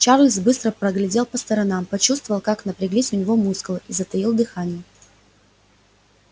чарлз быстро поглядел по сторонам почувствовал как напряглись у него мускулы и затаил дыхание